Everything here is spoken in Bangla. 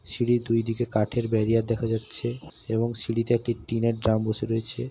সিঁড়ির দুই দিকে কাঠের বেরিয়ার দেখা যাচ্ছে এবং সিড়িতে একটি টিনের ড্রাম বসে রয়েছে।